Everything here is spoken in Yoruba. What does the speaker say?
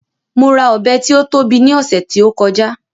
Mo ra Ọ̀bẹ tí ó tóbi ní ọ̀sẹ̀ tí ó kọjá